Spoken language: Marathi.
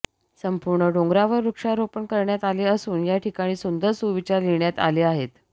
संपूर्ण डोंगरावर वृक्षारोपण करण्यात आले असून या ठिकाणी सुंदर सुविचार लिहिण्यात आले आहेत